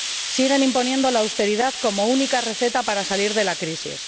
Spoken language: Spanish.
Siguen imponiendo la austeridad como única receta para salir de la crisis.